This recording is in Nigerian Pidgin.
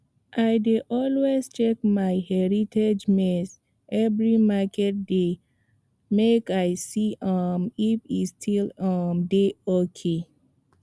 i dey always check my heritage maize every market day make i see um if e still um dey ok